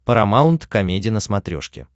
парамаунт комеди на смотрешке